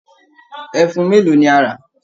Ẹfun mélòó ni a rà!